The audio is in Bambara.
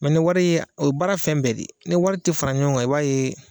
ni wari o ye baara fɛn bɛɛ de ni wari tɛ fara ɲɔgɔn i b'a ye